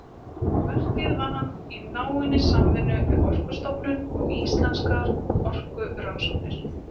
Verkið vann hann í náinni samvinnu við Orkustofnun og Íslenskar orkurannsóknir.